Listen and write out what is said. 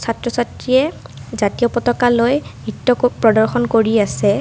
ছাত্ৰ ছাত্ৰীয়ে জাতীয় পতকা লৈ নৃত্য প্ৰদৰ্শন কৰি আছে।